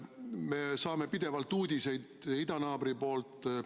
Me saame pidevalt uudiseid idanaabri poolt.